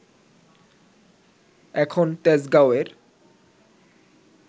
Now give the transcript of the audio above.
এখন তেজগাঁওয়ের